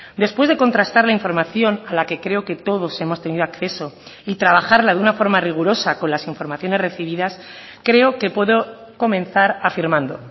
después de contrastar la información a la que creo que todos hemos tenido acceso y trabajarla de una forma rigurosa con las informaciones recibidas creo que puedo comenzar afirmando